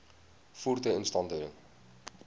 voertuie instandhouding